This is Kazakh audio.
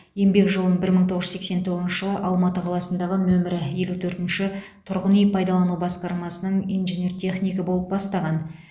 еңбек жолын бір мың тоғыз жүз сексен тоғызыншы жылы алматы қаласындағы нөмірі елу төртінші тұрғын үй пайдалану басқармасының инженер технигі болып бастаған